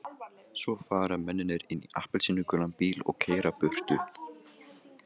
Svo fara mennirnir inn í appelsínugulan bíl og keyra burtu.